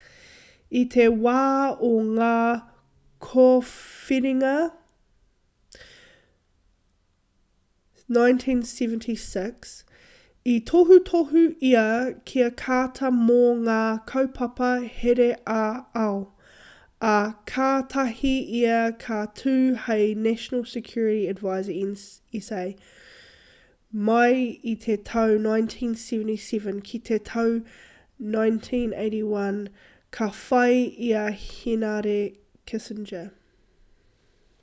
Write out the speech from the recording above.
i te wā o ngā kōwhiringa 1976 i tohutohu ia ki a carter mō ngā kaupapa here ā-ao ā kātahi ia ka tū hei national security advisor nsa mai i te tau 1977 ki te tau 1981 ka whai i a henare kissinger